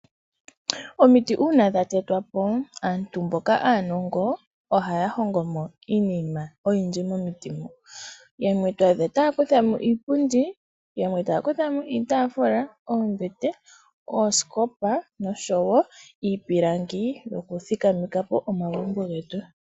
Uuna omiti dha tetwapo, aantu mboka aanongo ohaya hongomo iinima oyindji momiti moka, yamwe taya kuthamo iipundi, yamwe taya kuthamo iitafula, oombete, ooskopa osho wo iipilangi yoku thikamekapo omagumbo getu.